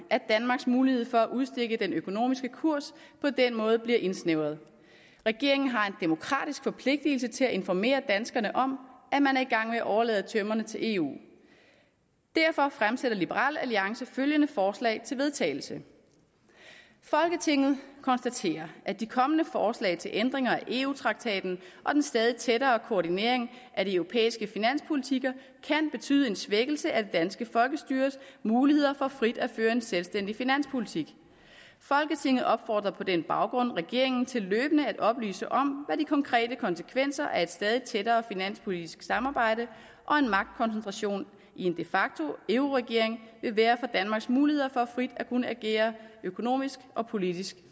at danmarks mulighed for at udstikke den økonomiske kurs på den måde bliver indsnævret regeringen har en demokratisk forpligtelse til at informere danskerne om at man er i gang med at overlade tømmerne til eu derfor fremsætter liberal alliance følgende forslag til vedtagelse folketinget konstaterer at de kommende forslag til ændringer af eu traktaten og den stadig tættere koordinering af de europæiske finanspolitikker kan betyde en svækkelse af det danske folkestyres muligheder for frit at føre en selvstændig finanspolitik folketinget opfordrer på den baggrund regeringen til løbende at oplyse om hvad de konkrete konsekvenser af et stadig tættere finanspolitisk samarbejde og en magtkoncentration i en de facto euroregering vil være for danmarks muligheder for frit at kunne agere økonomisk og politisk